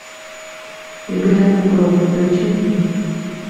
и грянул гром включи мне